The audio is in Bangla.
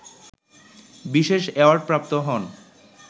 বিশেষ অ্যাওয়ার্ডপ্রাপ্ত হন